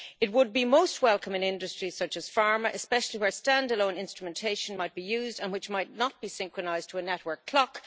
It would be most welcome in industry such as pharma, especially where standalone instrumentation might be used and which might not be synchronised to a network clock.